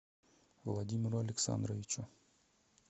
владимиру александровичу